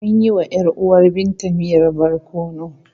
Mun yi wa ‘yar uwar Binta miyan barkono.